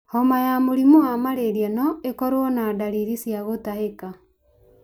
Homa ya mũrĩmũ wa malaria no ĩkorwo na ndariri cia gũtahĩka.